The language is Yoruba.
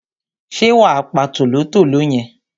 ṣé wà á pa tòlótòló yẹn?